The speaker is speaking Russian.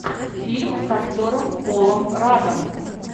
фильм с актером полом раддом